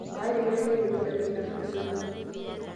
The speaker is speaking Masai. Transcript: Meetae eilata aiteru enfda weiki natulusoyie.